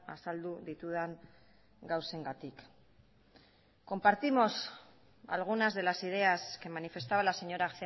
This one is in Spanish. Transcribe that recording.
azaldu ditudan gauzengatik compartimos algunas de las ideas que manifestaba la señora